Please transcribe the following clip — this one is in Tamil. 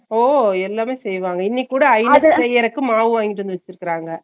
ஓ எல்லாமே செய்வாங்க இன்னிக்குட செய்யறதுக்கு மாவு வாங்கிட்டு வந்து வெச்சிருக்காங்க